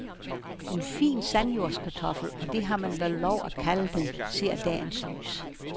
En fin sandjordskartoffel, og det har man vel lov at kalde den, ser dagens lys.